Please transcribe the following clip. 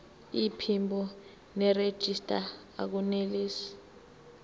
iphimbo nerejista akunelisi